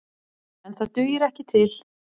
En það dugir ekki til.